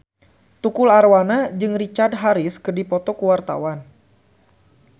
Tukul Arwana jeung Richard Harris keur dipoto ku wartawan